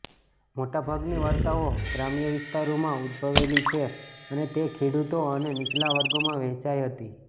મોટાભાગની વાર્તાઓ ગ્રામ્ય વિસ્તારોમાં ઉદભવેલી છે અને તે ખેડૂતો અને નીચલા વર્ગોમાં વહેંચાઈ હતી